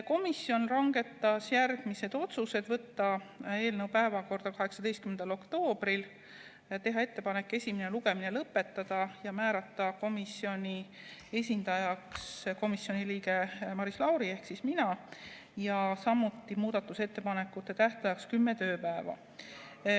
Komisjon langetas järgmised otsused: võtta eelnõu päevakorda 18. oktoobril, teha ettepanek esimene lugemine lõpetada, määrata komisjoni esindajaks komisjoni liige Maris Lauri ehk mina ja määrata muudatusettepanekute tähtajaks 10 tööpäeva.